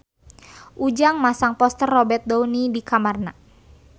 Ujang masang poster Robert Downey di kamarna